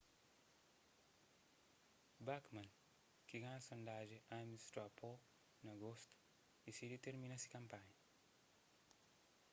bachmann ki ganha sondajen ames straw poll na agostu disidi tirmina se kanpanha